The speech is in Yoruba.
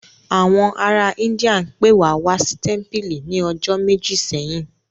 Àwọn ará Íńdíà pe wa wá sí tẹ́mpìlì ní ọjọ́ méjì sẹ́yìn